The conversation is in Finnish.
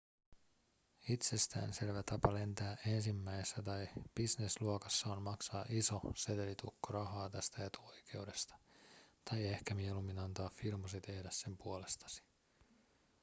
itsestään selvä tapa lentää ensimmäisessä tai business-luokassa on maksaa iso setelitukko rahaa tästä etuoikeudesta tai ehkä mieluummin antaa firmasi tehdä sen puolestasi